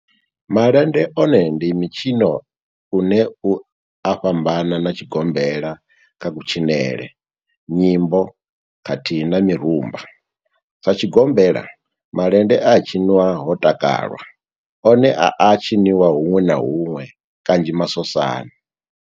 Malende one ndi mitshino une u a fhambana na tshigombela kha kutshinele, nyimbo khathihi na mirumba, Sa tshigombela, malende a tshiṅwa ho takalwa, one a a tshiniwa huṅwe na huṅwe kanzhi masosani.